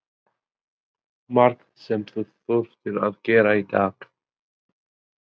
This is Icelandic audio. Lillý Valgerður: Margt sem þú þurftir að gera í dag?